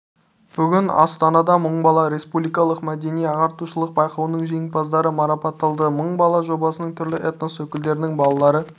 бүгін астанада мың бала республикалық мәдени-ағартушылық байқауының жеңімпаздары марапатталды мың бала жобасы түрлі этнос өкілдерінің балалары